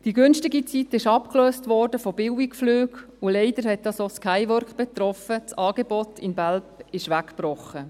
Die günstige Zeit wurde von Billigflügen abgelöst, und leider hat das auch die Skywork betroffen, das Angebot in Belp ist weggebrochen.